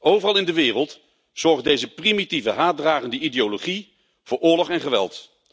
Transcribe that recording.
Overal in de wereld zorgt deze primitieve haatdragende ideologie voor oorlog en geweld.